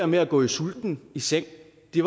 med at gå sulten i seng